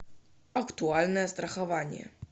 актуальное страхование